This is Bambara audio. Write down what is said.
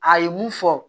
A ye mun fɔ